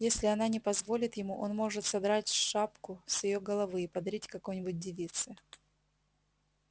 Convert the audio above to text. если она не позволит ему он может содрать шапку с её головы и подарить какой-нибудь девице